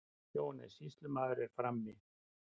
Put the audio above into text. JÓHANNES: Sýslumaður er frammi.